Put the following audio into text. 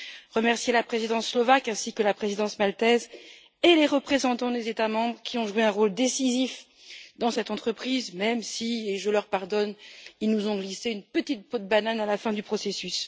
Je tiens également à remercier la Présidence slovaque ainsi que la Présidence maltaise et les représentants des États membres, qui ont joué un rôle décisif dans cette entreprise, même si et je leur pardonne ils nous ont glissé une petite peau de banane à la fin du processus.